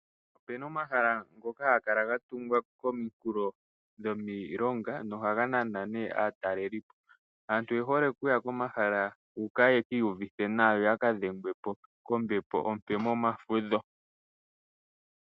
Opena omahala ngoka haga kala ga tungwa kominkulo dhomilonga no haga nana nee aatalelipo, aantu oye hole okuya komahala huka yeke iyuvithe nawa yo yaka dhengwepo kombepo ompe momafudho.